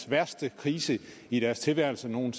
værste krise i deres tilværelse nogen